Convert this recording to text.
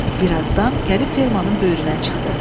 Bir azdan gəlib fermannın böyrünə çıxdı.